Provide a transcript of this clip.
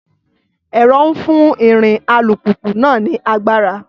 Ẹ̀rọ ń fún ìrìn alùpùpù náà ní agbára.